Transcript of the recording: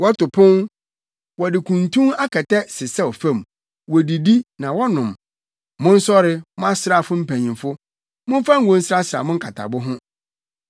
Wɔto pon, wɔde kuntu akɛtɛ sesɛw fam, wodidi, na wɔnom! Monsɔre, mo asraafo mpanyimfo, momfa ngo nsrasra mo akatabo ho!